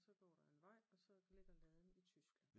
Og så går der en vej og så ligger laden i Tyskland